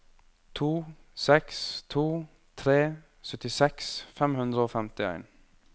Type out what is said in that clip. to seks to tre syttiseks fem hundre og femtien